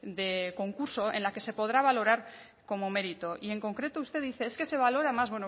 de concurso en la que se podrá valorar como mérito y en concreto usted dice es que se valora más